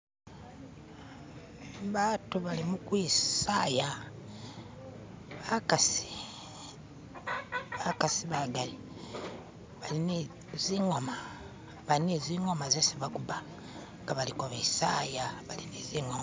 ba'atu bali mukwi'saya ba'kasi, ba'kasi ba'gali bali ni zi'ngoma, bali ni zi'ngoma ze'si ba'kuba nga ba'liko be'saya bali ni zi'ngoma